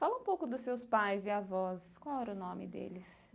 Fala um pouco dos seus pais e avós, qual era o nome deles?